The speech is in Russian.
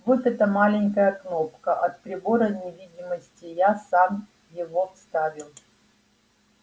вот эта маленькая кнопка от прибора невидимости я сам его вставил